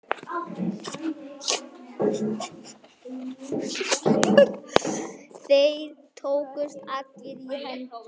Þeir tókust allir í hendur.